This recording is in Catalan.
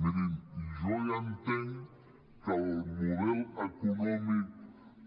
mirin jo ja entenc que el model econòmic